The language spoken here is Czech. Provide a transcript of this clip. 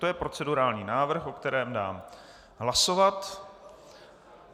To je procedurální návrh, o kterém dám hlasovat.